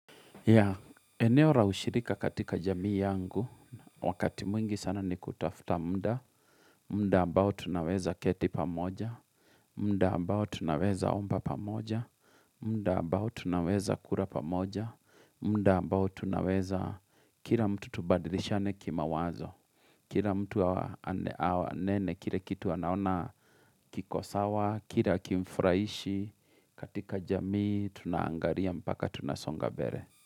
Ya, eneo ra ushirika katika jamii yangu, wakati mwingi sana ni kutafuta muda, muda ambao tunaweza keti pamoja, muda ambao tunaweza omba pamoja, muda mbao tunaweza kura pamoja, muda mbao tunaweza kila mtu tubadilishane kima wazo, kila mtu anene, kila kitu anaona kikosawa, kile hakimfraishi, katika jamii tunaangaria mpaka tunasonga bere.